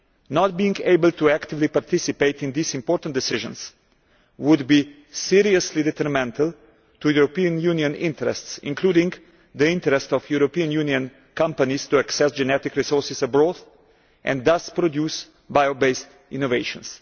Not being able to actively participate in these important decisions would be seriously detrimental to European Union interests, including the interest of European Union companies to access genetic resources abroad and thus produce bio based innovations.